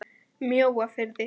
Mjóafirði